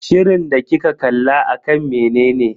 Shirin da kika kalla akan menene?